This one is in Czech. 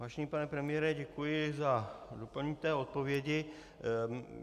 Vážený pane premiére, děkuji za doplnění odpovědi.